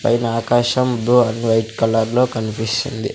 పైన ఆకాశం blue and white కలర్లో కన్పిస్తుంది.